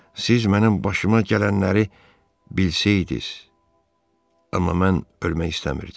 Siz mənim başıma gələnləri bilsəydiz, amma mən ölmək istəmirdim.